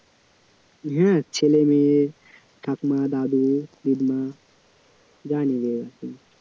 হ্যাঁ ছেলে মেয়ে ঠাকুমা দাদু দিদিমা যা নেবে আর কি